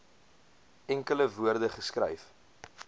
enkele woorde geskryf